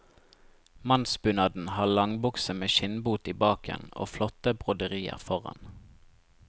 Mannsbunaden har langbukse med skinnbot i baken, og flotte broderier foran.